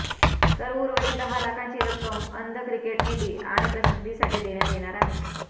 तर उर्वरित दहा लाखांची रक्कम अंध क्रिकेट निधी आणि प्रसिद्धीसाठी देण्यात येणार आहे